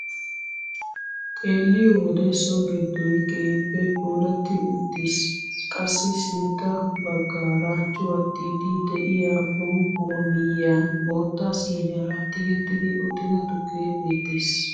Xelliyoo wode so giddoy keehippe puulatti utiis qassi sintta baggaara cuwattiidi de'iyaa bonqquwaa miyiyaan bootta siiniyaara tigettidi uttida tukkee beettees.